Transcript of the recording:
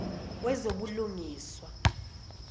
wezobulungiswa